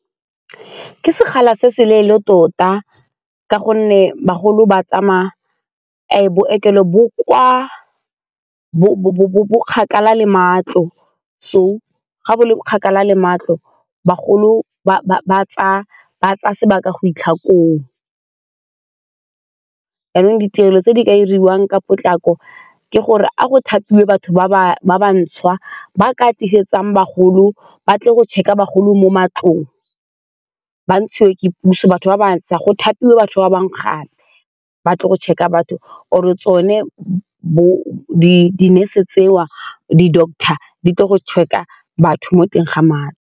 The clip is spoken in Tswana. Ke sekgala se se leele tota ka gonne bagolo ba tsamaya bookelo bo kgakala le matlo so ga o le kgakala le matlo bagolo ba tsaya sebaka go fitlha koo, jaanong ditirelo tse di ka diriwang ka potlako ke gore a go thapiwe batho ba ba bantšhwa ba ka ba tle go check-a bagolo mo ba ntshiwe ke puso, batho ba bašwa go thapiwe batho ba bangwe gape ba tle go check-a batho or-re tsone bo di-nurse tseo, di-doctor di tle go check-a batho mo teng ga madi.